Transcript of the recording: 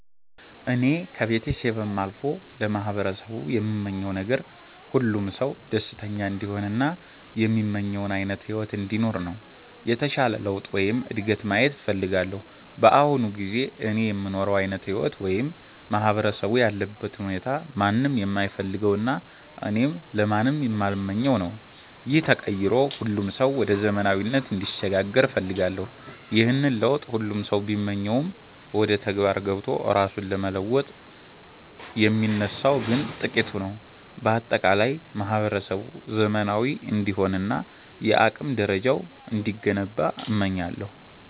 እኔ ከቤተሰቤም አልፎ ለማህበረሰቡ የምመኘው ነገር፣ ሁሉም ሰው ደስተኛ እንዲሆን እና የሚመኘውን ዓይነት ሕይወት እንዲኖር ነው። የተሻለ ለውጥ ወይም እድገት ማየት እፈልጋለሁ። በአሁኑ ጊዜ እኔ የምኖረው ዓይነት ሕይወት ወይም ማህበረሰቡ ያለበት ሁኔታ ማንም የማይፈልገውና እኔም ለማንም የማልመኘው ነው። ይህ ተቀይሮ ሁሉም ሰው ወደ ዘመናዊነት እንዲሸጋገር እፈልጋለሁ። ይህንን ለውጥ ሁሉም ሰው ቢመኘውም፣ ወደ ተግባር ገብቶ ራሱን ለመለወጥ የሚነሳው ግን ጥቂቱ ነው። በአጠቃላይ ማህበረሰቡ ዘመናዊ እንዲሆንና የአቅም ደረጃው እንዲገነባ እመኛለሁ።